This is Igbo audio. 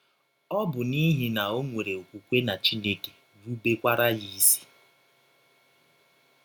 Ọ bụ n’ihi na ọ nwere ọkwụkwe na Chineke, rụbekwara ya isi.